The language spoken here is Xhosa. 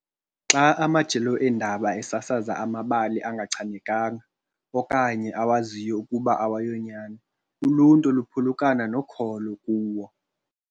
Xa amajelo eendaba esasaza amabali angachanekanga okanye awaziyo ukuba awayonyani, uluntu luphulukana nokholo kuwo.